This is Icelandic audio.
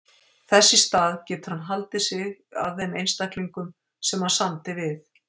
Þess í stað getur hann haldið sig að þeim einstaklingum sem hann samdi við.